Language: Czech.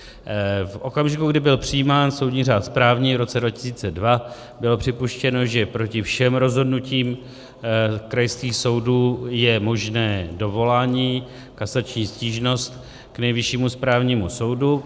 V okamžiku, kdy byl přijímán soudní řád správní v roce 2002, bylo připuštěno, že proti všem rozhodnutím krajských soudů je možné dovolání, kasační stížnost k Nejvyššímu správnímu soudu.